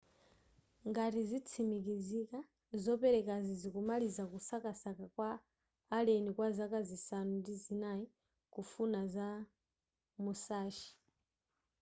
ngati zitsimikizika zopezekazi zikumaliza kusakasaka kwa a alleni kwa zaka zisanu ndi zinai kufuna za musashi